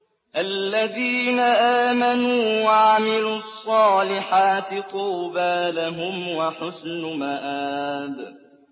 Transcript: الَّذِينَ آمَنُوا وَعَمِلُوا الصَّالِحَاتِ طُوبَىٰ لَهُمْ وَحُسْنُ مَآبٍ